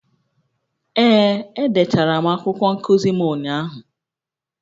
Ee, edechara m akwụkwọ nkuzi m ụnyahụ